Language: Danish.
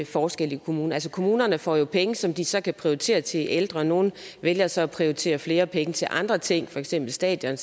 forskel i kommunerne altså kommunerne får jo penge som de så kan prioritere til ældre nogle vælger så at prioritere flere penge til andre ting for eksempel stadioner